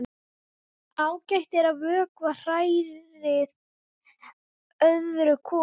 Ágætt er að vökva hræið öðru hvoru.